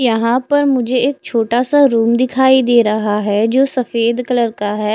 यहाँ पर मुझे एक छोटासा रूम दिखाई दे रहा है जो सफ़ेद कलर का है।